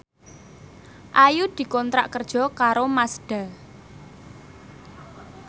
Ayu dikontrak kerja karo Mazda